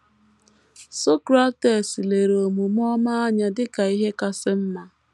Socrates lere omume ọma anya dị ka ihe kasị mma.